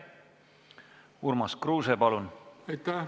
Urmas Kruuse, palun!